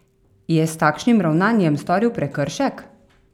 Je s takšnim ravnanjem storil prekršek?